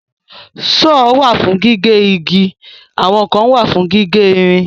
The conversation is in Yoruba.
Sọ́ọ̀ wà fún gígé igi àwọn kan wà fún gígé ìrìn.